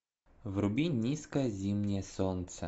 вруби низкое зимнее солнце